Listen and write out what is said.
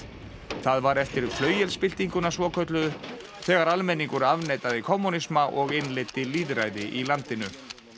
það var eftir svokölluðu þegar almenningur afneitaði kommúnisma og innleiddi lýðræði í landinu